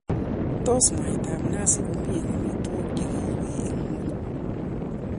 Tos mwaitab nazi komi eng amitwogik che giiwei eng ngwonyi?